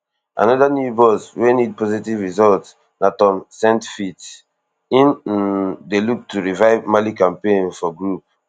another new boss wey need positive results na tom saintfit im um dey look to revive mali campaign for group